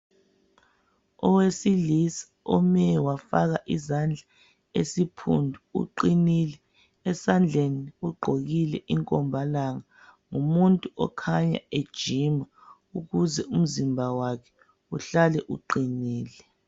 Owesilisa ome wafaka izandla esiphundu ugqinile esandleni ugqokile inkombalanga ngumuntu okhanya ejima ukuze umzimba wakhe uhlale uqinile.